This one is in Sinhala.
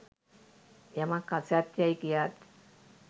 යමක් අසත්‍ය යැයි කියාත්